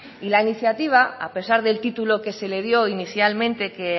y la iniciativa a pesar del título que se le dio inicialmente que